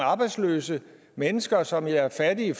arbejdsløse mennesker som er fattige i